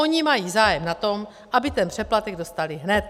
Oni mají zájem na tom, aby ten přeplatek dostali hned.